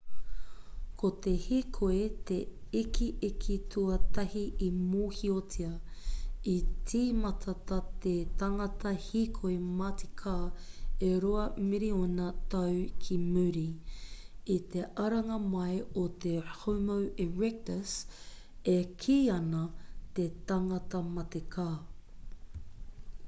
ko te hīkoi te ikiiki tuatahi i mōhiotia i tīmata tā te tangata hīkoi matika e rua miriona tau ki muri i te aranga mai o te homo erectus e kī ana te tangata matika